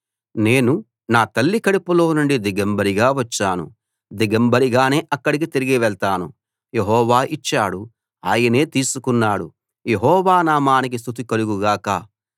నేను నా తల్లి కడుపులోనుండి దిగంబరిగా వచ్చాను దిగంబరిగానే అక్కడికి తిరిగి వెళ్తాను యెహోవా ఇచ్చాడు ఆయనే తీసుకున్నాడు యెహోవా నామానికి స్తుతి కలుగు గాక